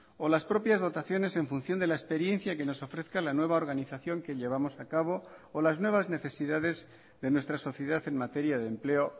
o las propias dotaciones en función de la experiencia que nos ofrezca la nueva organización que llevamos a cabo o las nuevas necesidades de nuestra sociedad en materia de empleo